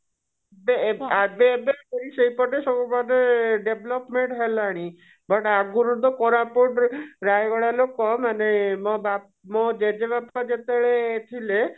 ବେ ଏବେ ସେଇପଟେ ସବୁ ମାନେ development ହେଲାଣି but ଆଗରୁ ତ କୋରାପୁଟ ରେ ରାୟଗଡା ଲୋକ ମାନେ ମୋ ବାପା ଜେଜେ ବାପା ଯେତେବେଳେ ଥିଲେ